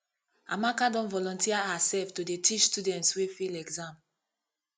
amaka don volunteer hersef to dey teach students wey fail exam